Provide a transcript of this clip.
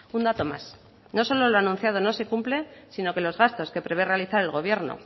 un dato más no solo lo ha anunciado no se cumple sino que los gastos que prevé realizar el gobierno